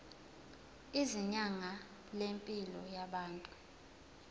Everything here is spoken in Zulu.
izinga lempilo yabantu